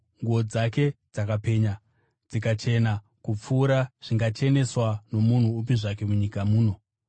Nguo dzake dzakapenya, dzikachena kupfuura zvingacheneswa nomunhu upi zvake munyika muno.